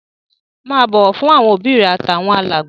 Máa bọ̀wọ̀ fáwọn òbí rẹ àtàwọn alàgbà.